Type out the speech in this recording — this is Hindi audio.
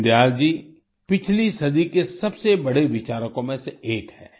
दीन दयाल जी पिछली सदी के सबसे बड़े विचारकों में से एक हैं